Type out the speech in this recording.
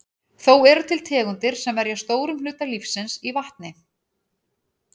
Þó eru til tegundir sem verja stórum hluta lífsins í vatni.